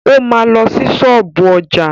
O ma lọ sí ṣọ́ọ̀bú ọjà.